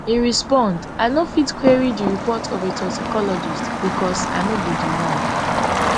e respond i no fit query di report of a toxicologist becos i no be di one